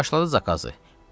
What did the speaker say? Başladı zakazı: